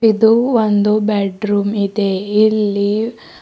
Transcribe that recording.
ಇದು ಒಂದು ಬೆಡ್ರೂಮ್ ಇದೆ ಇಲ್ಲಿ--